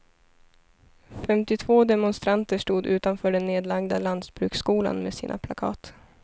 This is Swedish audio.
Femtiotvå demonstranter stod utanför den nedlagda lantbruksskolan med sina plakat.